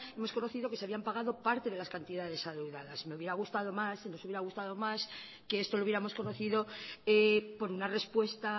hemos conocido que se habían pagado parte de las cantidades adeudadas me hubiera gustado más nos hubiera gustado más que esto lo hubiéramos conocido por una respuesta